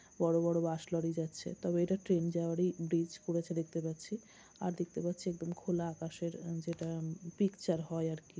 বড়ো বড়ো bus lorry যাচ্ছে | তবে এটা ট্রেন যাওয়ার ই ব্রিজ করেছে দেখতে পারছি | আর দেখতে পাচ্ছি একদম খোলা আকাশ এর উমঃ যেটা উমঃ পিকচার হয় আর কি।